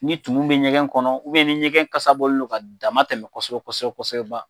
Ni tumun bi ɲɛgɛn kɔnɔ ni ɲɛgɛn kasa bɔlen don ka dama tɛmɛ kosɛbɛ kɔsɛbɛ kosɛbɛ kosɛbɛba